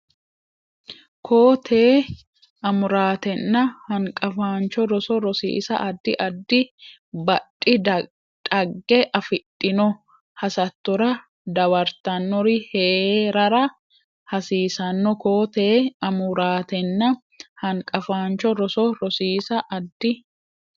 Koo tee Amuraatenna Hanqafaancho Roso Rosiisa addi addi badhi dhagge afidhino hasattora dawartannori hee rara hasiisanno Koo tee Amuraatenna Hanqafaancho Roso Rosiisa addi.